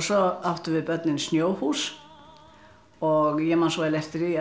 svo áttum við börnin snjóhús og ég man eftir því